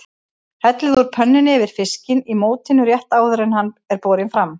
Hellið úr pönnunni yfir fiskinn í mótinu rétt áður en hann er borinn fram.